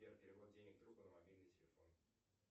сбер перевод денег другу на мобильный телефон